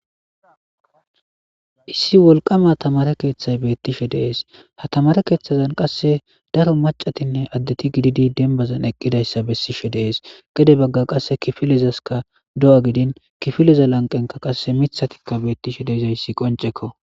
Issi wolqama tamaare keethay beetishe de'es; ha tamaare keethezan qasse daro maccatinne addeti gididi denbazan eqqidayssa besiishe de'es; gede bagga qasse kifilezaska do'a gidin kifileza lanqenkka qasse miththatika betishe de'izayssi qonceko.